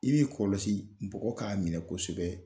I b'i kɔlɔsi npɔgɔ k'a minɛ kosɛbɛ